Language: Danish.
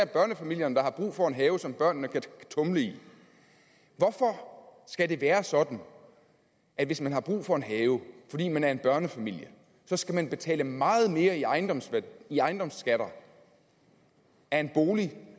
børnefamilierne der har brug for en have som børnene kan tumle i hvorfor skal det være sådan at hvis man har brug for en have fordi man er en børnefamilie så skal man betale meget mere i ejendomsskatter i ejendomsskatter af en bolig